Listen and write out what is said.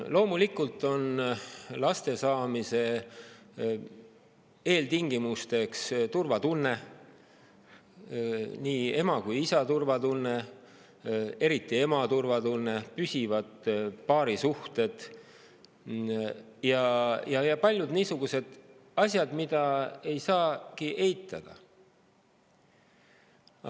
Loomulikult on laste saamise eeltingimus turvatunne, nii ema kui ka isa turvatunne, eriti ema turvatunne, püsivad paarisuhted ja paljud niisugused asjad, mida ei saagi eitada.